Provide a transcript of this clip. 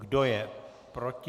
Kdo je proti?